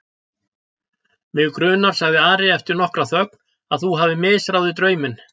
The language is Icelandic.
Mig grunar, sagði Ari eftir nokkra þögn,-að þú hafir misráðið drauminn.